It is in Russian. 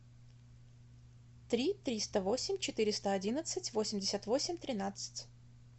три триста восемь четыреста одиннадцать восемьдесят восемь тринадцать